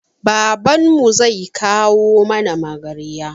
Babanmu zai kawo mana magarya